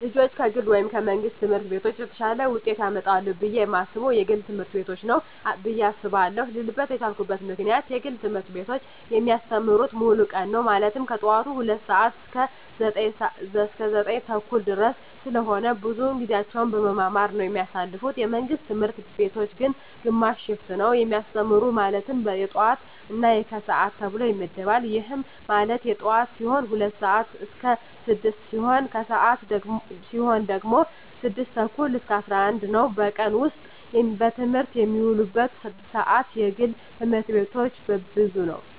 ልጆች ከግል ወይም ከመንግሥት ትምህርት ቤቶች የተሻለ ውጤት ያመጣሉ ብየ የማስበው የግል ትምህርት ቤቶችን ነው ብየ አስባለው ልልበት የቻልኩት ምክንያት የግል ትምህርት ቤቶች የሚያስተምሩት ሙሉ ቀን ነው ማለትም ከጠዋቱ 2:00 ሰዓት እስከ 9:30 ድረስ ስለሆነ ብዙውን ጊዜያቸውን በመማማር ነው የሚያሳልፉት የመንግስት ትምህርት ቤቶች ግን ግማሽ ሽፍት ነው የሚያስተምሩ ማለትም የጠዋት እና የከሰዓት ተብሎ ይመደባል ይህም ማለት የጠዋት ሲሆኑ 2:00 ስዓት እስከ 6:00 ሲሆን የከሰዓት ሲሆኑ ደግሞ 6:30 እስከ 11:00 ነው በቀን ውስጥ በትምህርት የሚውሉበት ሰዓት የግል ትምህርት ቤቶች ብዙ ነው።